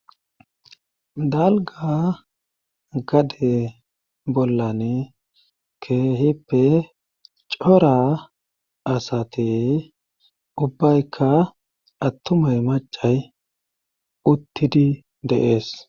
Dalga gade bollan keehippe cora asate ubbaykka attumay macay uttidi deees.